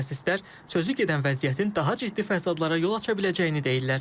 Mütəxəssislər sözügedən vəziyyətin daha ciddi fəsadlara yol aça biləcəyini deyirlər.